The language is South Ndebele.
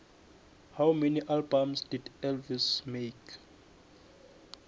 how many albums did elvis make